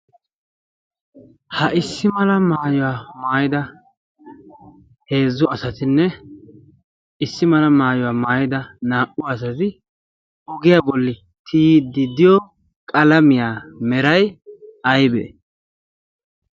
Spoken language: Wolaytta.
ha issi mala maayuwaa maayida heezzu asatinne issi mala maayuwaa maayida naa"u asati ogiyaa bolli tiyididdiyo qalamiyaa meray aybee?